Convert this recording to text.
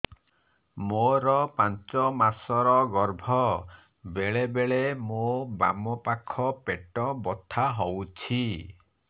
ମୋର ପାଞ୍ଚ ମାସ ର ଗର୍ଭ ବେଳେ ବେଳେ ମୋ ବାମ ପାଖ ପେଟ ବଥା ହଉଛି